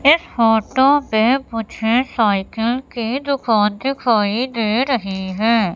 इस फोटो पे मुझे साइकिल की दुकान दिखाई दे रही है।